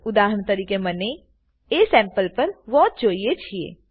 ઉદાહરણ તરીકે મને અસેમ્પલ પર વોચ જોઈએ છીએ